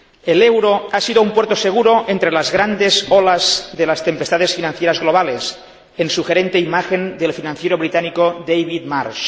El euro ha sido un puerto seguro entre las grandes olas de las tempestades financieras globales, en sugerente imagen del financiero británico David Marsh.